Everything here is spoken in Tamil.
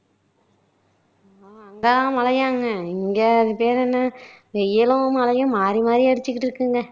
அங்க மழையாங்க இங்க அது பேரு என்ன வெயிலும் மழையும் மாறிமாறி அடிச்சுக்கிட்டு இருக்குங்க